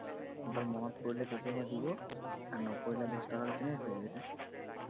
মনত পৰিলে কেতিয়াবা দিব আৰু নপৰিলে দচটকাটো কেনেকে খুজিবি তই